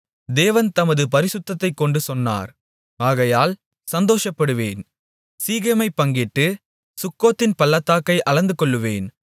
தேவன் தமது பரிசுத்தத்தைக்கொண்டு சொன்னார் ஆகையால் சந்தோஷப்படுவேன் சீகேமைப் பங்கிட்டு சுக்கோத்தின் பள்ளத்தாக்கை அளந்துகொள்ளுவேன்